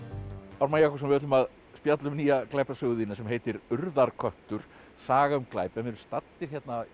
Ármann Jakobsson við ætlum að spjalla um nýja glæpasögu þína sem heitir urðarköttur saga um glæp við erum staddir